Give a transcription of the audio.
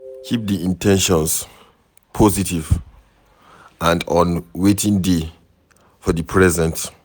Keep di in ten tions positive and on wetin dey for di present